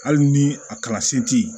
Hali ni a kalansen ti ye